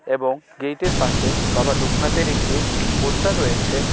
এবং গেটের পাশে বাবা লোকনাথের একটি পোস্টার রয়েছে .